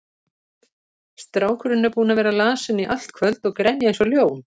Strákurinn er búinn að vera lasinn í allt kvöld og grenja eins og ljón.